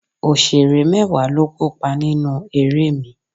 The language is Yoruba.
Òṣèré mẹ́wàá ló kópa nínú eré mi